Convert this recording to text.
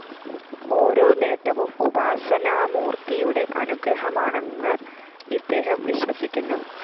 ഓരോ നേട്ടവും ഉപാസനാമൂര്‍ത്തിയുടെ അനുഗ്രഹമാണെന്ന് ഇദ്ദേഹം വിശ്വസിക്കുന്നു